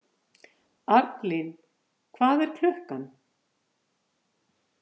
Arnlín, hvað er klukkan?